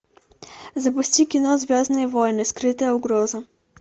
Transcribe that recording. запусти кино звездные войны скрытая угроза